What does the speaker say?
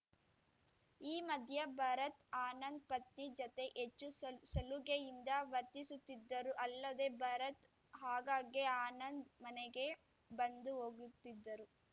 ಈ ಮಧ್ಯ ಭರತ್‌ ಆನಂದ್‌ ಪತ್ನಿ ಜತೆ ಹೆಚ್ಚು ಸಲುಗೆಯಿಂದ ವರ್ತಿಸುತ್ತಿದ್ದರು ಅಲ್ಲದೆ ಭರತ್‌ ಆಗಾಗ್ಗೆ ಆನಂದ್‌ ಮನೆಗೆ ಬಂದು ಹೋಗುತ್ತಿದ್ದರು